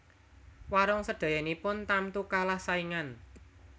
Warung sedayanipun tamtu kalah saingan